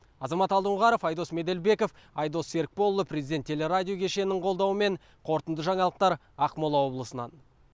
азамат алдоңғаров айдос меделбеков айдос серікболұлы президент теле радио кешенінің қолдауымен қорытынды жаңалықтар ақмола облысынан